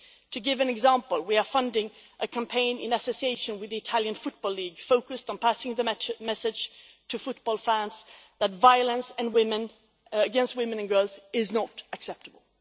To give an example, we are funding a campaign in association with the Italian football league, focused on passing the message to football fans that violence against women and girls is not acceptable.